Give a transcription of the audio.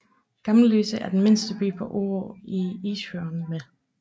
Gamløse er den mindste by på Orø i Isefjorden med